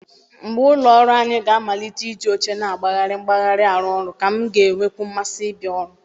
Mgbe ụlọ ọrụ anyị ga-amalite iji oche na-agbagharị agbagharị arụ ọrụ, ka m ga-enwekwu mmasị ịbịa ọrụ